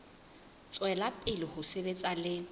tswela pele ho sebetsa le